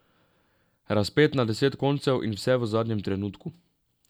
Razpet na deset koncev in vse v zadnjem trenutku ...